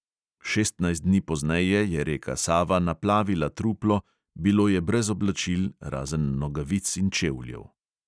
Šestnajst dni pozneje je reka sava naplavila truplo, bilo je brez oblačil, razen nogavic in čevljev.